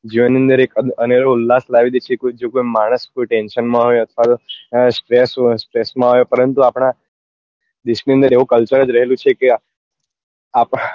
જીવન ની અંદર એક અનેરો ઉલ્લાસ લાવી દે છે કે જો કોઈ માણસ કોઈ tension માં હોય અથવા તો એને stress હોય stress માં હોય પરંતુ આપડા દેશ ની અંદર એવું culture જ રહેલું છે કે આપડા